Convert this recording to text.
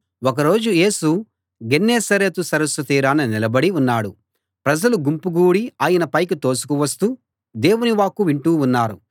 ఒక రోజు యేసు గెన్నేసరెతు సరస్సు తీరాన నిలబడి ఉన్నాడు ప్రజలు గుంపుగూడి ఆయనపైకి తోసుకువస్తూ దేవుని వాక్కు వింటూ ఉన్నారు